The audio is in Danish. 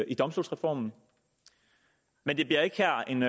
i domstolsreformen men det bliver ikke her en